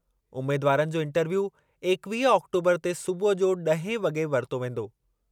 उमेदवारनि जो इंटरव्यू इकवीह आक्टोबरु ते सूबुह जो ॾहें वॻे वरितो वेंदो।